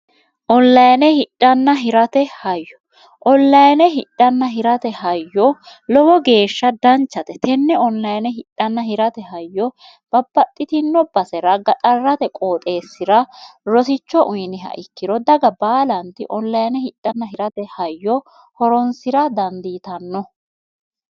olayine hidhnn hirate hayyo olayine hidhanna hirate hayyo lowo geeshsha danchate tenne olayine hidhnn hirate hayyo babbaxxitino basera gaxarrate qooxeessi'ra rosicho uyiniha ikkiro daga baalanti ollayine hidnn hirate hayyo horonsira dandiitanno